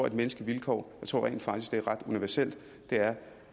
et menneskeligt vilkår det tror jeg rent faktisk er ret universelt og det er